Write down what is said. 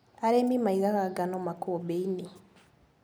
Arĩmi maigaga ngano makũmbĩinĩ.